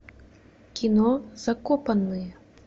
кино закопанные